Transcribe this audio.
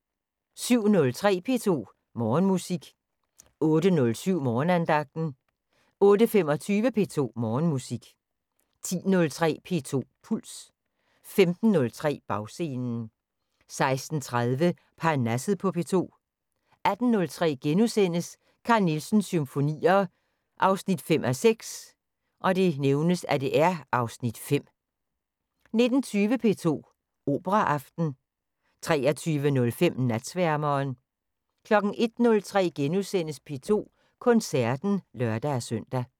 07:03: P2 Morgenmusik 08:07: Morgenandagten 08:25: P2 Morgenmusik 10:03: P2 Puls 15:03: Bagscenen 16:30: Parnasset på P2 18:03: Carl Nielsens Symfonier 5:6 (Afs. 5)* 19:20: P2 Operaaften 23:05: Natsværmeren 01:03: P2 Koncerten *(lør-søn)